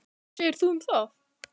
Hvað segir þú um það?